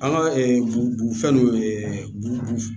An ka b fɛn nunnu